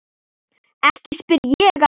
Ekki spyr ég að.